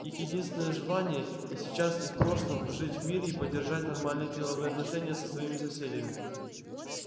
их единственное желание и сейчас и в прошлом жить в мире и поддержать нормальные деловые отношения со своими соседями